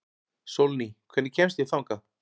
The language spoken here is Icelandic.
Sólný, hvernig kemst ég þangað?